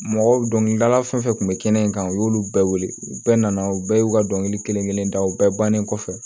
Mɔgɔ dɔnkilidala fɛn fɛn kun bɛ kɛnɛ in kan u y'olu bɛɛ wele u bɛɛ nana u bɛɛ y'u ka dɔnkili kelen kelen daw bɛɛ bannen kɔfɛ